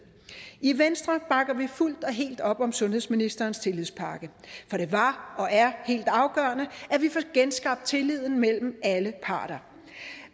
i venstre bakker vi fuldt og helt op om sundhedsministerens tillægspakke for det var og er helt afgørende at vi får genskabt tilliden mellem alle parter